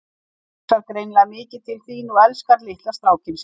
Hún hugsar greinilega mikið til þín og elskar litla strákinn sinn.